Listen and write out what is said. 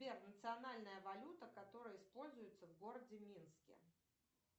сбер национальная валюта которая используется в городе минске